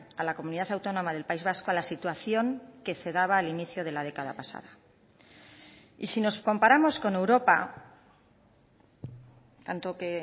a la comunidad autónoma del país vasco a la situación que se daba al inicio de la década pasada y si nos comparamos con europa tanto que